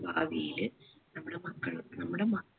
ഭാവിയില് നമ്മളെ മക്കൾ നമ്മുടെ മ